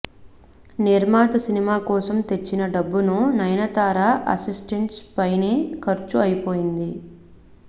నిర్మాత సినిమా కోసం తెచ్చిన డబ్బును నయనతార అసిస్టెంట్స్ పైనే ఖర్చు అయిపోతుంది